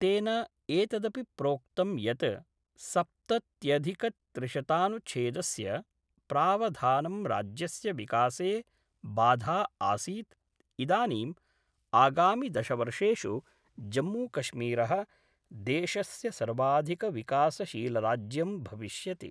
तेन एतदपि प्रोक्तम् यत् सप्तत्यधिकत्रिशतनुच्छेदस्य प्रावधानं राज्यस्य विकासे बाधा आसीत् इदानीं आगामि दशवर्षेषु जम्मूकश्मीर: देशस्य सर्वाधिकविकासशीलराज्यं भविष्यति।